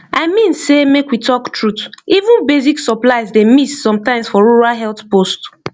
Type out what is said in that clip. i mean sey make we talk truth even basic supplies dey miss sometimes for rural health post